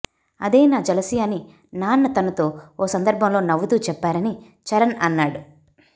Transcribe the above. అదే నా జలసి అని నాన్న తనతో ఓ సందర్భంలో నవ్వుతూ చెప్పారని చరణ్ అన్నాడు